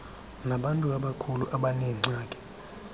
nabantu abakhulu abaneengxaki